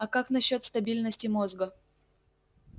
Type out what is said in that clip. а как насчёт стабильности мозга